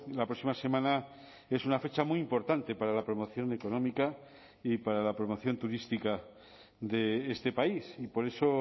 la próxima semana es una fecha muy importante para la promoción económica y para la promoción turística de este país y por eso